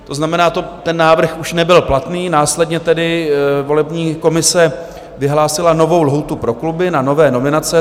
To znamená, ten návrh už nebyl platný, následně tedy volební komise vyhlásila novou lhůtu pro kluby na nové nominace.